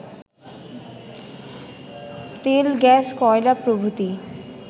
তেল-গ্যাস-কয়লা প্রভৃতি